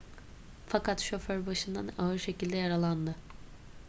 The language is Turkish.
fakat şoför başından ağır şekilde yaralandı